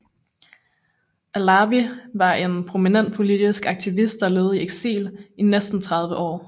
Allawi var en prominent politisk aktivist der levede i eksil i næsten 30 år